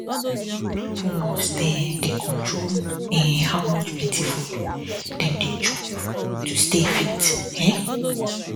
people must um dey control um how plenty food dem dey dey chop to stay fit um